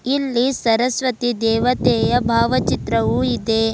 ಇಲ್ಲಿ ಸರಸ್ವತಿ ದೇವತೆಯ ಭಾವಚಿತ್ರವು ಇದೆ.